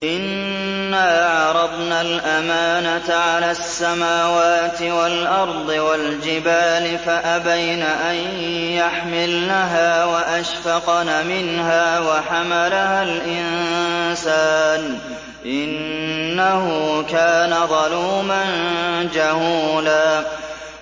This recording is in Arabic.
إِنَّا عَرَضْنَا الْأَمَانَةَ عَلَى السَّمَاوَاتِ وَالْأَرْضِ وَالْجِبَالِ فَأَبَيْنَ أَن يَحْمِلْنَهَا وَأَشْفَقْنَ مِنْهَا وَحَمَلَهَا الْإِنسَانُ ۖ إِنَّهُ كَانَ ظَلُومًا جَهُولًا